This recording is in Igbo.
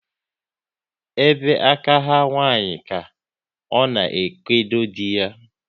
Ebe aka ha nwanyị ka ọ na ekodo dị ya